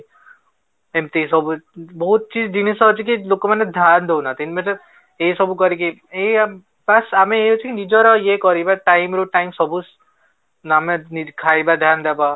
ଏମିତି ସବୁ ବହୁତ ଜିନିଷ ଅଛି କି ଲୋକମାନେ ସାଥ ଦଉନାହାଁନ୍ତି ଏସବୁ କରିକି ଏଇଆ ବାସ ଆମେ ଇଏ ଅଛି କି ନିଜର ଇଏ କରିବା time ରୁ time ସବୁ ନା ଆମେ ଖାଇବା ଧ୍ୟାନ ଦେବା